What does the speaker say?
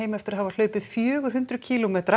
eftir að hafa hlaupið fjögur hundruð kílómetra